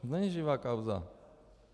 To není živá kauza.